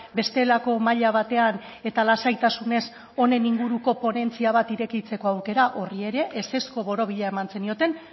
bestelako maila batean eta lasaitasunez honen inguruko ponentzia bat irekitzeko aukera horri ere ezezko borobila eman zenioten